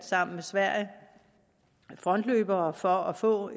sammen med sverige frontløbere for at få